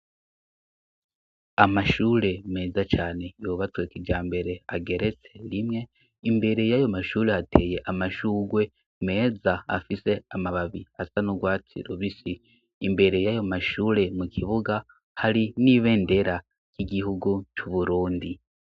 Amashure meza cane yubatswe kimbere, ageretse rimwe. Imbere y'ayo mashure hateye amashugwe meza, afise amababi asa nurwatsi rubisi. Imbere y'ayo mashure mu kibuga, hari n'ibendera ry'igihugu c'uburundi.